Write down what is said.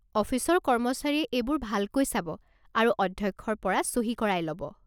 অফিচৰ কৰ্মচাৰীয়ে এইবোৰ ভালকৈ চাব আৰু অধ্যক্ষৰ পৰা চহী কৰাই ল'ব।